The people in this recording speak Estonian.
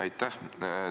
Aitäh!